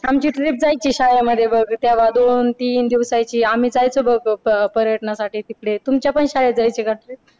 आमची trip जायची शाळेमध्ये बघ तेव्हा दोन तीन दिवसाची तेव्हा आम्ही जायचो बघ पर्यटनासाठी तिकडे तुमच्या पण शाळेत जायचे का असे